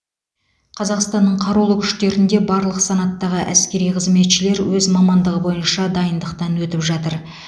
қазақстанның қарулы күштерінде барлық санаттағы әскери қызметшілер өз мамандығы бойынша дайындықтан өтіп жатыр